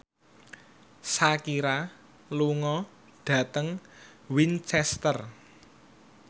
Shakira lunga dhateng Winchester